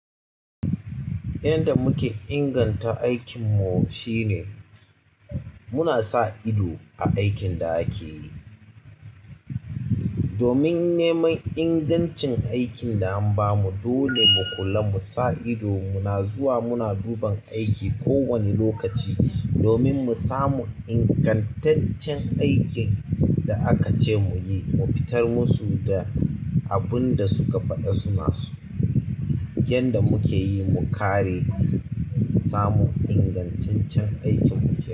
Yanda muke inganta aikinmu shine muna sa ido a aikin da ake yi. Domin neman ingancin aikin da an bamu, dole mu kula, mu sa ido, muna zuwa muna duban aiki kowane lokaci domin mu samu ingantaccen aikin da aka ce mu yi, mu fitar musu da abun da suka faɗa suna so. Yanda mukeyi mu kare, mu samu ingantaccen aikinmu kenan.